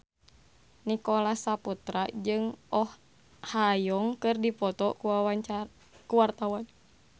Nicholas Saputra jeung Oh Ha Young keur dipoto ku wartawan